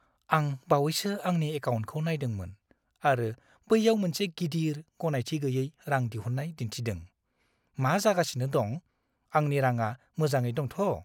आं बावैसो आंनि एकाउन्टखौ नायदोंमोन आरो बैयाव मोनसे गिदिर, गनायथि गैयै रां दिहुननाय दिनथिदों। मा जागासिनो दं? आंनि रांआ मोजाङै दंथ'?